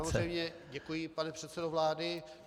Já samozřejmě děkuji, pane předsedo vlády.